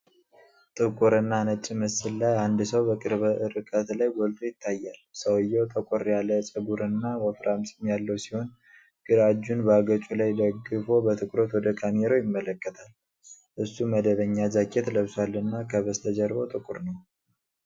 ጥቁርና ነጭ ምስል ላይ አንድ ሰው በቅርብ ርቀት ላይ ጎልቶ ይታያል። ሰውየው ጠቆር ያለ ፀጉርና ወፍራም ፂም ያለው ሲሆን፤ ግራ እጁን በአገጩ ላይ ደግፎ በትኩረት ወደ ካሜራው ይመለከታል። እሱ መደበኛ ጃኬት ለብሷልና ከበስተጀርባው ጥቁር ነው።